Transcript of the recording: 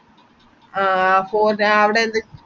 ആഹ് ഫോ ഞാൻ അവ്ടെ എത്തി